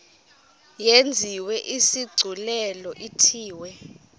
yenziwe isigculelo ithiwe